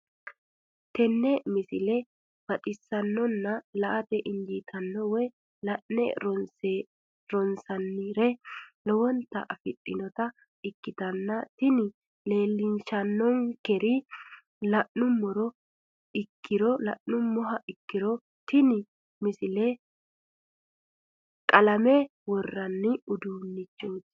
tenne misile baxisannonna la"ate injiitanno woy la'ne ronsannire lowote afidhinota ikkitanna tini leellishshannonkeri la'nummoha ikkiro tini misile qalame worraanni uduunnichooti.